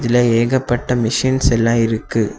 இதுல ஏகப்பட்ட மிஷிண்ஸ் எல்லா இருக்கு.